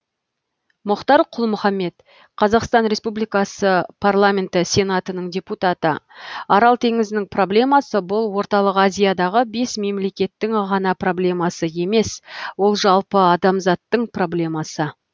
мұхтар құл мұхаммед қазақстан республикасы парламенті сенатының депутаты арал теңізінің проблемасы бұл орталық азиядағы бес мемлекеттің ғана проблемасы емес ол жалпы адамзаттың проблемасы